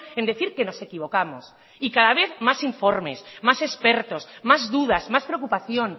en decir que nos equivocamos y cada vez más informes más expertos más dudas más preocupación